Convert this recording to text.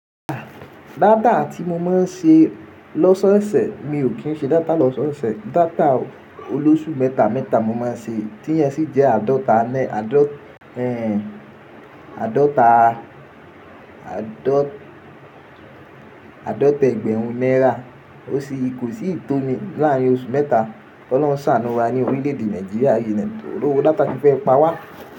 Dáta tí mo máa ń ṣe lọ́sọ́ọ̀sẹ̀, mi ò kí ń ṣe dáta lọ́sọ́ọ̀sẹ̀. Dáta olóṣù mẹ́ta mẹ́ta mo máa ń ṣe, tí íye sì jẹ́ àádọ́ta ẹgbẹ̀rún naira. Ó sì kò n sí ìtómi láàárín oṣù mẹ́ta. K'Ọlọ́run ṣàánú wa ní orílẹ̀èdè Nàìjíríà yi ni tòrówo dáta ti fẹ́ pa wá.